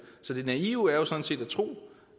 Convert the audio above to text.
så det naive er jo sådan set at tro